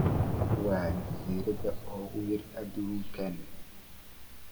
waa jasiirada ugu yar aduunka